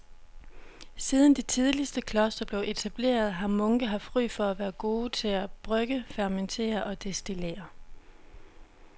Siden de tidligste klostre blev etableret har munke haft ry for at være gode til at brygge, fermentere og destillere.